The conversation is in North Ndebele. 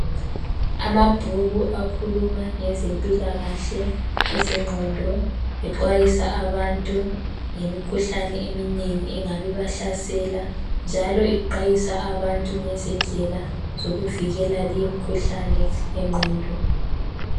Amabhuku akhuluma ngeze mpilakahle, ezenqondo enxwayisa abantu ngemikhuhlane eminengi engabe iba hlasela njalo ixwayisa abantu ngezindlela zokuvikela leyo mikhuhlane yenqondo.